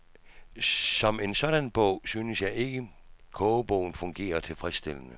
Som en sådan bog synes jeg ikke kogebogen fungerer tilfredsstillende.